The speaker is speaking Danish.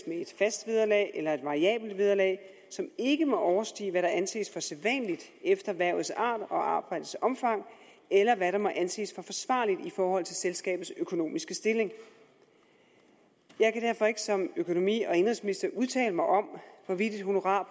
et fast vederlag eller et variabelt vederlag som ikke må overstige hvad der anses for sædvanligt efter hvervets art og arbejdets omfang eller hvad der må anses for forsvarligt i forhold til selskabets økonomiske stilling jeg kan derfor ikke som økonomi og indenrigsminister udtale mig om hvorvidt et honorar